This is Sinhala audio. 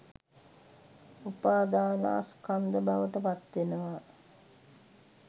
උපාධානස්කන්ධ බවට පත් වෙනවා.